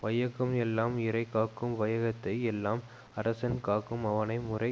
வையகம் எல்லாம் இறை காக்கும் வையகத்தை எல்லாம் அரசன் காக்கும் அவனை முறை